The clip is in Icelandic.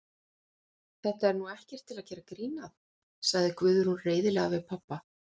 Þetta er nú ekkert til að gera grín að, sagði Guðrún reiðilega við pabba.